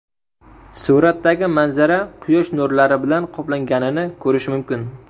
Suratdagi manzara quyosh nurlari bilan qoplanganini ko‘rish mumkin.